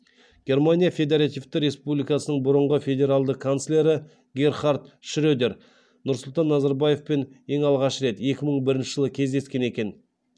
германия федеративті республикасының бұрынғы федералды канцлері герхард шредер нұрсұлтан назарбаевпен ең алғаш рет екі мың бірінші жылы кездескен екен